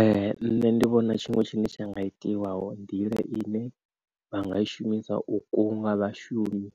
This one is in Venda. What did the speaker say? Ee nṋe ndi vhona tshiṅwe tshine tsha nga itiwa hu nḓila ine vha nga i shumisa u kunga vhashumi